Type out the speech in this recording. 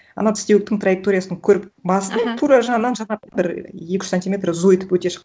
ана тістеуіктің траекториясын көріп басымның тура жанынан бір екі үш сантиметр зу етіп өте шықты